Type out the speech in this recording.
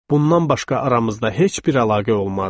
Bundan başqa aramızda heç bir əlaqə olmazdı.